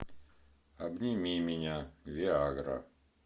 обними меня виа гра